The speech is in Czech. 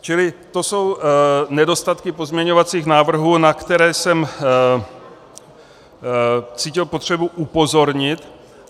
Čili to jsou nedostatky pozměňovacích návrhů, na které jsem cítil potřebu upozornit.